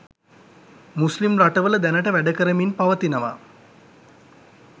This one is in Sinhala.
මුස්ලිම් රටවල දැනට වැඩකරමින් පවතිනවා